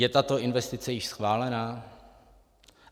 Je tato investice již schválena?